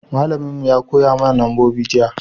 malamin mu ya koya mana nambobi jiya